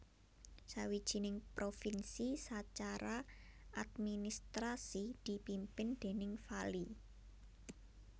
Sawijining provinsi sacara administrasi dipimpin déning vali